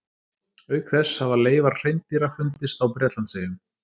Auk þess hafa leifar hreindýra fundist á Bretlandseyjum.